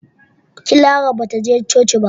Clara ba ta je coci ba.